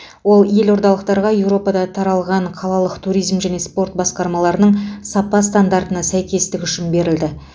ол елордалықтарға еуропада таралған қалалық туризм және спорт басқармаларының сапа стандартына сәйкестігі үшін берілді